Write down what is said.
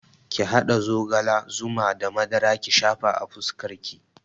Ki haɗa zogala, zuma da madara ki shafa a fuskar ki